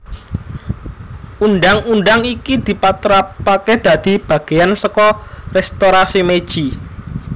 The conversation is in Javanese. Undhang undhang iki dipatrapaké dadi bagéyan saka Restorasi Meiji